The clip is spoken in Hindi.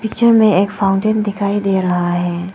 पिक्चर में एक फाउंटेन दिखाई दे रहा है।